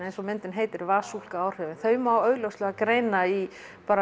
eins og myndin heitir áhrifin þau má augljóslega greina í